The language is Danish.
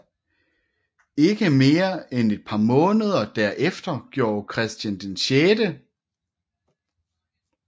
Ikke mere end et par måneder derefter gjorde Christian 6